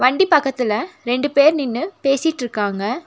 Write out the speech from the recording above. வண்டி பக்கத்துல ரெண்டு பேர் நின்னு பேசிட்ருக்காங்க.